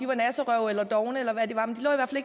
var nasserøve eller er dovne